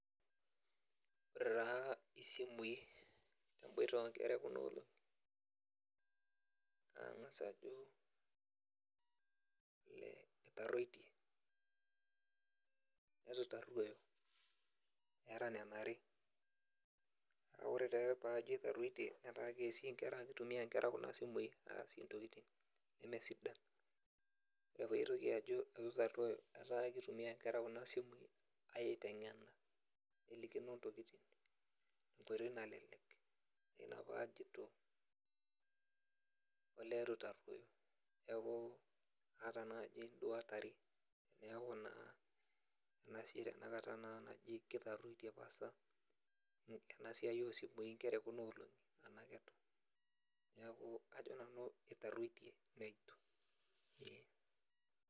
Ore taa isimui ebooita o nkera e Kuna olongi nagas Ajo etaruotie neituitaruoyo eeta Nena are naa ore taa paajo etaruotie neeta keasie inkera kitumia inkera Kuna simui aasie intokitin neme sidan . Ore paaitoki Ajo eitu eitaruoyo naa keitumia inkera Kuna simui aitengena nelikino intokitin tenkoitoi nalelek Ina paajoito olee eitu itaruoyo neeku aata duo naaji induat are neeku naa ena siai naduo naji eitaruoitie pasa tenasiai oo simui nkera e Kuna olongi Tena keitu neeku Ajo nanu eitaruoitie neitu .